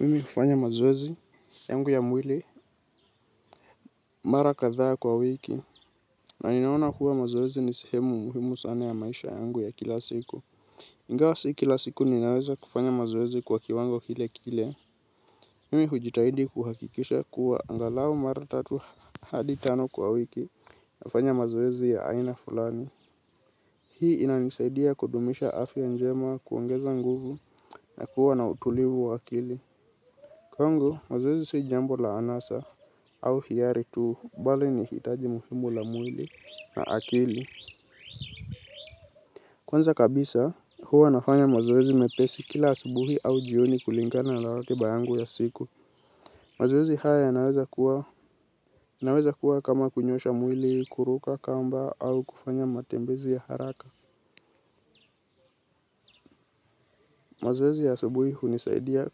Mimi kufanya mazoezi yangu ya mwili mara katha kwa wiki na ninaona kuwa mazoezi ni sehemu muhimu sana ya maisha yangu ya kila siku. Ingawa si kila siku ninaweza kufanya mazoezi kwa kiwango kile kile. Mwimi hujitahidi kuhakikisha kuwa angalau mara tatu hadi tano kwa wiki nafanya mazoezi ya aina fulani. Hii inanisaidia kudumisha afya njema kuongeza nguvu na kuwa na utulivu wa akili. Kwangu, mazoezi si jambo la anasa au hiari tuu, bali ni hitaji muhimu la mwili na akili. Kwanza kabisa, huwa nafanya mazoezi mepesi kila asubuhi au jioni kulingana la ratiba yangu ya siku. Mazoezi haya inaweza kuwa kama kunyosha mwili, kuruka kamba au kufanya matembezi ya haraka. Mazoezi ya asubuhi hunisaidia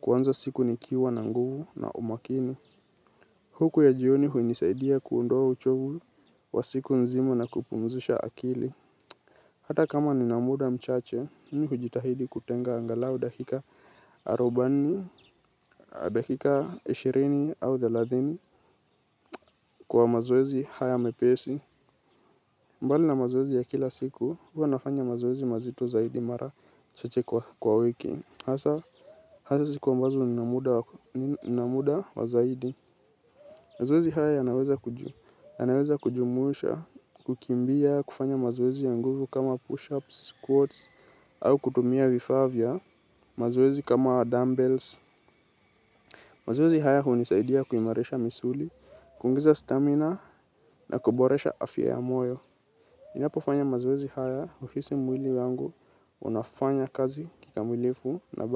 kuanza siku nikiwa na nguvu na umakini. Huku ya jioni hunisaidia kuondoa uchovu wa siku nzima na kupumzisha akili. Hata kama nina muda mchache, mimi hujitahidi kutenga angalau dakika arobani, dakika ishirini au thelathini kwa mazoezi haya mepesi. Mbali na mazoezi ya kila siku, huwa nafanya mazoezi mazito zaidi mara chache kwa wiki. Hasa siku ambazo nina muda wa zaidi. Mazoezi haya yanaweza kujumuisha, kukimbia, kufanya mazoezi ya nguvu kama push-ups, squats, au kutumia vifaa vua, mazoezi kama dumb bells. Mazoezi haya hunisaidia kuimarisha misuli, kuongeza stamina, na kuboresha afya ya moyo. Ninapofanya mazoezi haya uhisi mwili wangu, unafanya kazi kikamilifu, na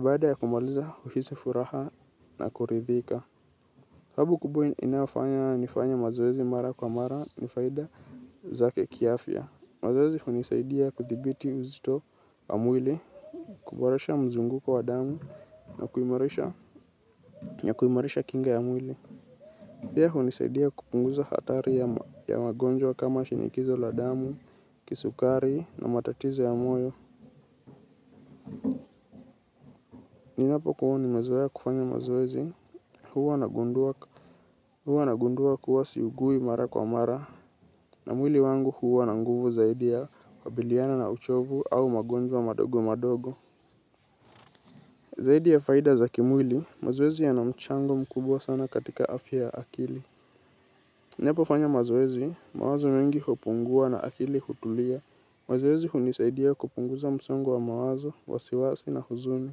baada ya kumaliza uhisi furaha na kuridhika. Sababu kubwa inafanya nifanya mazoezi mara kwa mara ni faida zake kiafya. Mazoezi hunisaidia kuthibiti uzito ya mwili, kuboresha mzunguko wa damu na kuimarisha kinga ya mwili. Pia hunisaidia kupunguza hatari ya magonjwa kama shinikizo la damu, kisukari na matatizo ya moyo. Ninapokuwa nimezea kufanya mazoezi huwa nagundua kuwa siugui mara kwa mara. Na mwili wangu huwa na nguvu zaidi ya kukabiliana na uchovu au magonjwa madogo madogo. Zaidi ya faida za kimwili mazoezi yana mchango mkubwa sana katika afya ya akili. Ninapofanya mazoezi mawazo mingi hupungua na akili hutulia. Mazoezi hunisaidia kupunguza msongo wa mawazo, wasiwasi na huzumi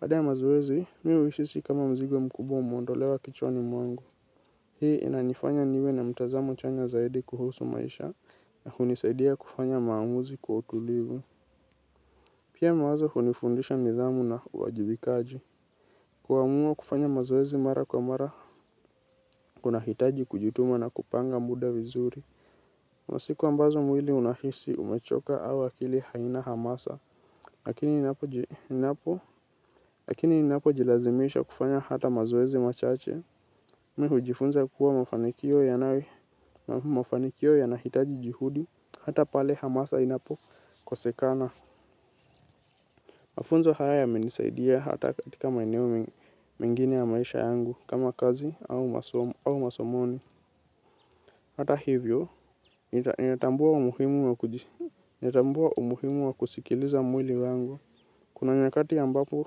baada ya mazoeezi, mi uhisi kama mzigo mkubwa umeondolewa kichwani mwangu. Hii inanifanya niwe na mtazamo chanya zaidi kuhusu maisha na hunisaidia kufanya maamuzi kwa utulivu. Pia mawazo hunifundisha nidhamu na uwajibikaji. Kuamua kufanya mazoezi mara kwa mara kunahitaji kijituma na kupanga muda vizuri. Masiku ambazo mwili unahisi umechoka au akili haina hamasa. Lakini inapojilazimisha kufanya hata mazoezi machache mi hujifunza kuwa mafanikio yanahitaji jihudi. Hata pale hamasa inapokosekana mafunzo haya yamenisaidia hata katika maeneo mengine ya maisha yangu kama kazi au masomoni hata hivyo ninatambua umuhimu wa kusikiliza mwili wangu. Kuna nyakati ambapo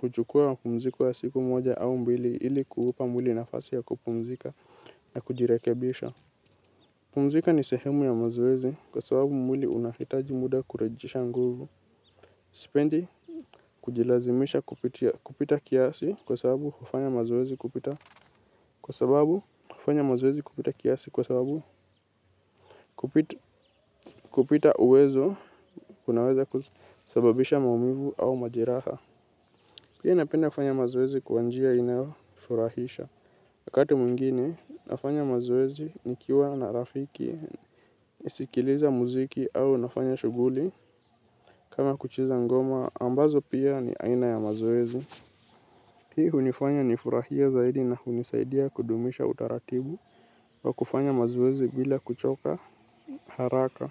huchukua mziko ya siku moja au mbili ili kuupa mwili nafasi ya kupumzika na kujirekebisha. Pumzika ni sehemu ya mazoezi kwa sababu mwili unahitaji muda kurejesha nguvu. Sipendi kujilazimisha kupita kiasi kwa sababu kufanya mazoezi kupita kiasi kwa sababu kupita uwezo kunaweza kusababisha maumivu au majeraha. Pia napenda kufanya mazoezi kwa njia inayofurahisha. Wakati mwingine, nafanya mazoezi ni kiwa na rafiki, isikiliza muziki au nafanya shuguli. Kama kucheza ngoma ambazo pia ni aina ya mazoezi hii hunifanya ni furahie zaidi na hunisaidia kudumisha utaratibu wa kufanya mazoezi bila kuchoka haraka.